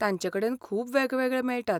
तांचेकडेन खूब वेगवेगळे मेळटात.